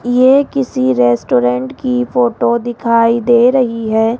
ये किसी रेस्टोरेंट की फोटो दिखाई दे रही है।